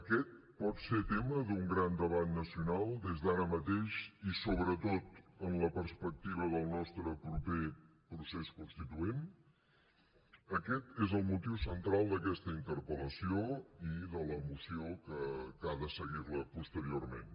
aquest pot ser tema d’un gran debat nacional des d’ara mateix i sobretot en la perspectiva del nostre proper procés constituent aquest és el motiu central d’aquesta interpel·lació i de la moció que ha de seguir la posteriorment